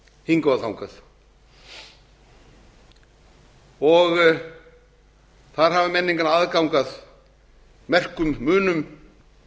hingað og þangað þar hafa menn engan aðgang að merkum munum